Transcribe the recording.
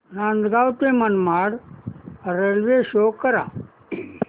नांदगाव ते Manmad railway show करा